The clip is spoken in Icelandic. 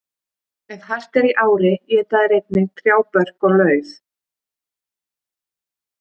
Ef hart er í ári éta þeir einnig trjábörk og lauf.